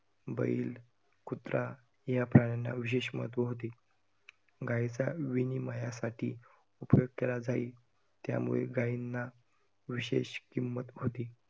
बैल, कुत्रा या प्राण्यांना विशेष महत्व होते. गायीचा विनिमयासाठी उपयोग केला जाई, त्यामुळे गायींना विशेष किंमत होती.